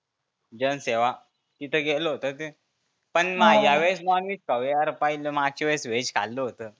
जनसेवा तीथं गेलो होतो ते. पण ह्यावेळेस नॉनव्हेज खाऊ या मागच्या वेळेस व्हेज खाल्ल होतं.